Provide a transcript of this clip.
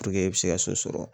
Puruke i bɛ se ka so sɔrɔ